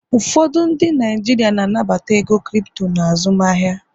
ụfọdụ ndị Naijiria na-anabata ego Kripto na azụmahịa